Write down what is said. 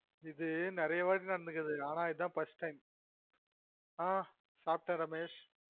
இது நெறய வாட்டி நடந்துருக்குது ஆனா இதுதான் first time ஆ சாப்ட ரமேஷ்